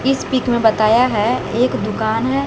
इस पिक में बताया है एक दुकान है।